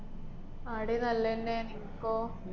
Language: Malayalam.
ആടീ നല്ലന്നെ നിക്കോ?